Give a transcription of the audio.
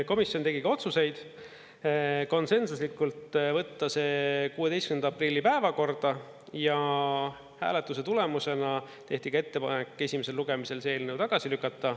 Komisjon tegi ka otsuseid: konsensuslikult võtta see 16. aprilli päevakorda ja hääletuse tulemusena tehti ka ettepanek esimesel lugemisel see eelnõu tagasi lükata.